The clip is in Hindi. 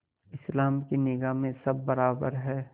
इस्लाम की निगाह में सब बराबर हैं